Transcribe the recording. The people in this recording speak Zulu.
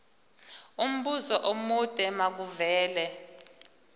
umbuzo omude makuvele